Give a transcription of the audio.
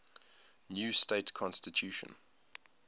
new state constitution